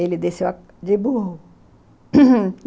Ele desceu de burro